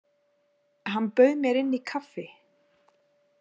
Hann bauð mér inn í kaffi.